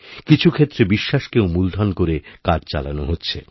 কিছু ক্ষেত্রে বিশ্বাসকেও মূলধন করে কাজ চালানো হচ্ছে